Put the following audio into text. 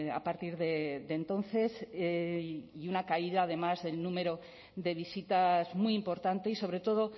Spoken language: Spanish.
a partir de entonces y una caída además del número de visitas muy importante y sobre todo